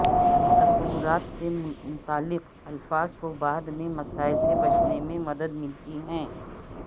تصورات سے متعلق الفاظ کو بعد میں مسائل سے بچنے میں مدد ملتی ہے